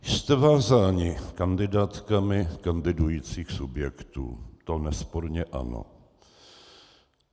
Jste vázáni kandidátkami kandidujících subjektů, to nesporně ano.